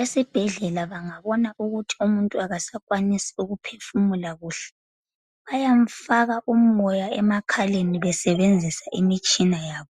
Esibhedlela bangabona ukuthi umuntu akasakwanisi ukuphefumula kuhle bayamfaka umoya emakhaleni besebenzisa imtshina yabo.